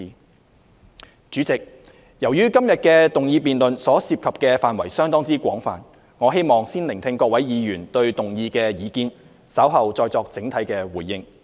代理主席，由於今天的議案辯論所涉及的範圍相當廣泛，我希望先聆聽各位議員對議案的意見，稍後再作整體的回應。